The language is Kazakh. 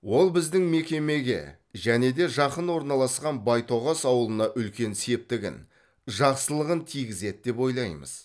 ол біздің мекемеге және де жақын орналасқан байтоғас ауылына үлкен септігін жақсылығын тигізеді деп ойлаймыз